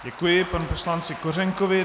Děkuji panu poslanci Kořenkovi.